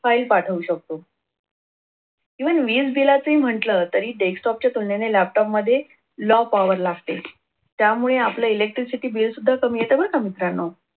File पाठवू शकतो even वीज बिलाचे ही म्हटलं तरी desktop च्या तुलनेने laptop मध्ये low power लागते त्यामुळे आपल electricity bill सुद्धा कमी येत. बर का मित्रांनो.